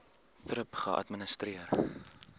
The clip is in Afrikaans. thrip geadministreer